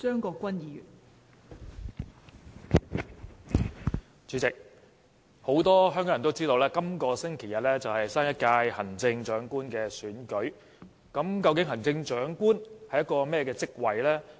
代理主席，很多香港人都知道本星期日是新一屆行政長官的選舉日，究竟行政長官是一個怎麼樣的職位？